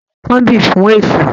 Mo ti kanbí fún èṣù